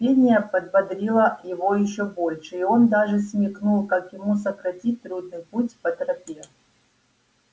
пение подбодрило его ещё больше и он даже смекнул как ему сократить трудный путь по тропе